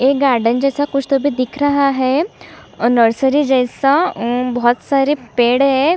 एक गार्डन जैसा कुछ तो भी दिख रहा है और नर्सरी जैसा अम्म बहुत सारे पेड़ है।